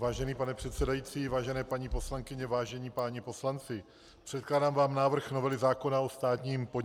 Vážený pane předsedající, vážené paní poslankyně, vážení páni poslanci, předkládám vám návrh novely zákona o státním podniku.